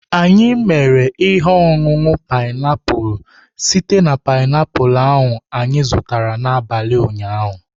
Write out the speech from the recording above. Anyị mere ihe ọṅụṅụ painiapulu site na painiapulu anyị zụtara n'abalị ụnyaahụ.